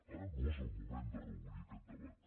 ara no és el moment de reobrir aquest debat